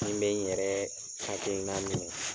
N bɛ n yɛrɛ hakilina minɛ.